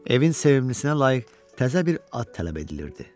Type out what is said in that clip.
Evin sevimlisinə layiq təzə bir ad tələb edilirdi.